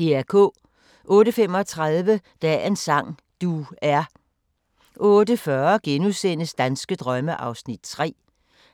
08:35: Dagens sang: Du er 08:40: Danske drømme (3:10)*